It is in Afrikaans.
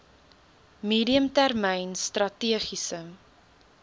medium termyn strategiese